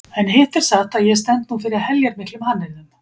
En hitt er satt að ég stend nú fyrir heljarmiklum hannyrðum.